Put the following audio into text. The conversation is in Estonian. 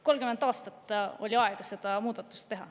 30 aastat oli aega seda muudatust teha.